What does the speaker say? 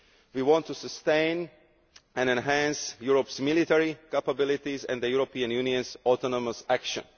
We want to sustain and enhance Europe's military capabilities and the European Union's autonomous action.